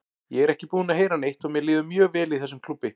Ég er ekki búinn að heyra neitt og mér líður mjög vel í þessum klúbbi.